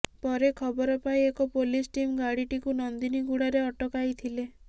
ପରେ ଖବର ପାଇ ଏକ ପୋଲିସ ଟିମ୍ ଗାଡିଟିକୁ ନନ୍ଦିନୀଗୁଡାରେ ଅଟକାଇଥିଲେ